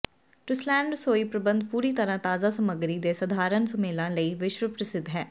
ਟੁਸਲੈਨ ਰਸੋਈ ਪ੍ਰਬੰਧ ਪੂਰੀ ਤਰ੍ਹਾਂ ਤਾਜ਼ਾ ਸਮੱਗਰੀ ਦੇ ਸਧਾਰਨ ਸੁਮੇਲਾਂ ਲਈ ਵਿਸ਼ਵ ਪ੍ਰਸਿੱਧ ਹੈ